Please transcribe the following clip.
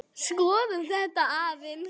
Skoðum þetta aðeins.